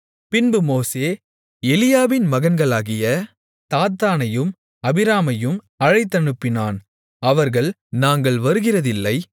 பின்பு மோசே எலியாபின் மகன்களாகிய தாத்தானையும் அபிராமையும் அழைத்தனுப்பினான் அவர்கள் நாங்கள் வருகிறதில்லை